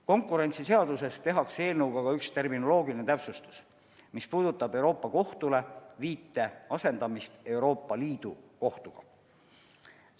Konkurentsiseaduses tehakse eelnõuga ka üks terminoloogiline täpsustus, mis puudutab Euroopa Kohtule tehtud viite asendamist Euroopa Liidu Kohtule tehtava viitega.